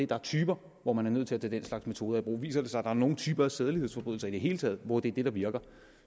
der er typer hvor man er nødt til at tage den slags metoder i brug og viser det sig er nogle typer af sædelighedsforbrydelser i det hele taget hvor det er det der virker